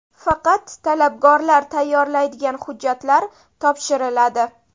Faqat talabgor tayyorlaydigan hujjatlar topshiriladi.